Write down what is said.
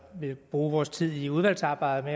vi vil bruge vores tid i udvalgsarbejdet